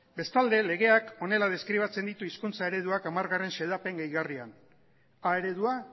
bestalde legeak honela deskribatzen ditu hizkuntza ereduak hamargarrena xedapen gehigarrian a eredua